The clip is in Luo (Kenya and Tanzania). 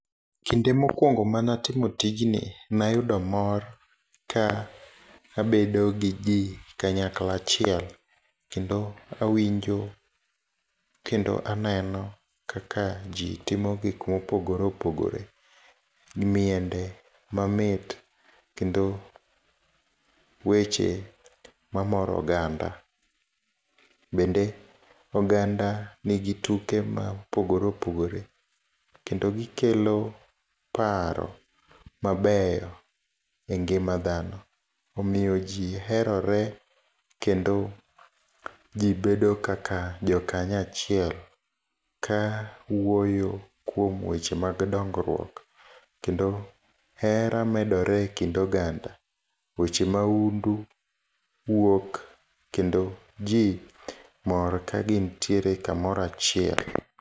Kinde mokuongo manatimo tijni, nayudo mor ka abedogi jii kanyakla achiel, kendo awinjo, kendo aneno kaka jii timo gik mopogore opogore. Miende mamit, kendo weche mamoro oganda. Bende oganda nigi tuke maopogore opogore, kendo gikelo paro mabeyo e ngima dhano. Omiyo jii herore, kendo jii bedo kaka jokanya achiel ka wuoyo kuom weche mag dongruok, kendo hera medore e kind oganda. Weche maundu wuok, kendo jii mor ka gintiere kamora achiel.